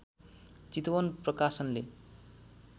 चितवन प्रकाशनले